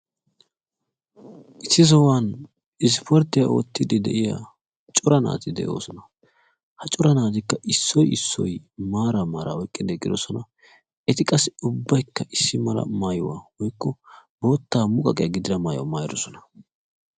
Issi sohuwan isporttiya oottiiddi de'iya cora naati de'oosona. Ha cora naatikka issoy issoy maaraa maaraa oyiqqidi eqqidosona. Eti qassi ubbayikka issi mala maayuwa woykko bootta muqaqiya gidida maayuwa maayidosona.